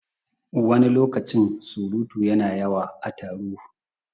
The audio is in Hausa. Wani lokacin surutu yana yawa a taro